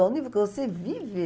Olha o nível que você vive.